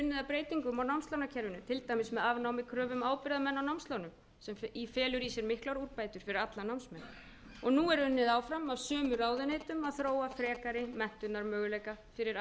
breytingum á námslánakerfinu til dæmis með afnámi kröfu um ábyrgðarmenn á námslánum sem felur í sér miklar úrbætur fyrir alla námsmenn nú er unnið áfram af sömu ráðuneytum að þróa frekari menntunarmöguleika fyrir